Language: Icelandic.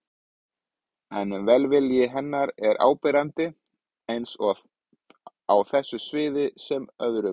En velvilji hennar er áberandi, eins á þessu sviði sem öðrum.